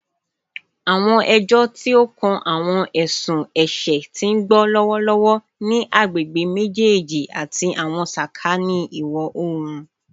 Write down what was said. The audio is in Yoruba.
Awọn ẹjọ ti o kan awọn ẹsun ẹṣẹ ti n gbọ lọwọlọwọ ni agbegbe mejeeji ati awọn sakani iwọ-oorun